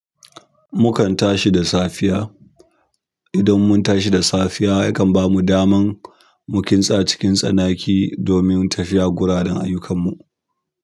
Mukan tashi da safiya. Idan mun tashi da safiya yakan bamu daman mu kintsa cikin tsanaki domin tafiya gudan ayyukan mu.